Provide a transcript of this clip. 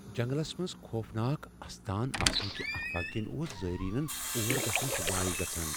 جنگلس منز خوفناك استان آسنٕكہِ افواہ كِنہِ اوس زٲیرینن اور گژھنس وایہ گژھان ۔